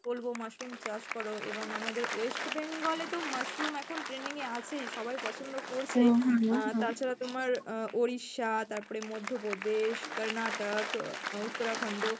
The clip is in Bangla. আমি বলবো, mushroom চাষ করো এবং আমাদের West Bengal এ তো mushroom এখন trending এ আছেই সবাই পছন্দ করছে আহ তাছাড়া তোমার আহ ওড়িশা তারপরে মধ্যপ্রদেশ কর্ণাটক আহ উত্তরাখণ্ড